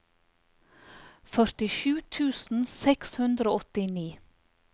førtisju tusen seks hundre og åttini